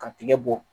Ka tigɛ bɔ